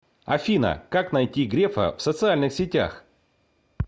афина как найти грефа в социальных сетях